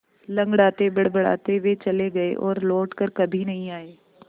लँगड़ाते बड़बड़ाते वे चले गए और लौट कर कभी नहीं आए